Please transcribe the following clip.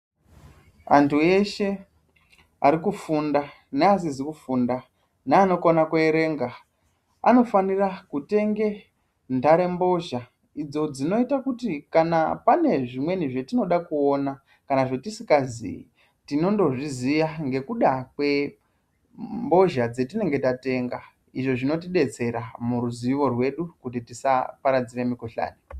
Antu eshe arikufunda neasizi kufunda neanokona kuerenga anofanira kutenge ntarembozha. Idzo dzinoita kuti kana pane zvimweni zvetinoda kuona kana zvatisingazii tinondozviziya ngekuda kwembozha dzetinenge tatenga. Izvo zvinotidetsera muruzivo rwedu kuti tisaparadzire mikuhlani.